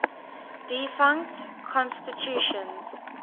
defunct constitutions